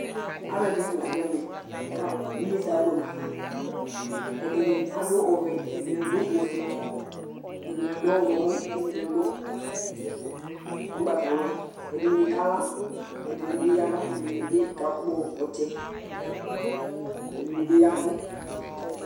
Alʋɛdìní la du ɛmɛ kʋ inyesɛ abʋɛ nʋ afa Ɛdiní adu ɔvɛ, ɛdiní adʋ ɔfʋe, ɛdiní adʋ ɔwlɔmɔ kʋ ɛdiní adʋ ugbatawla Ɛdiní kala Ɛdiní bi yaba Ɛdiní bi kakpɔ ɔtsɛ Ɛdiní bi yavʋ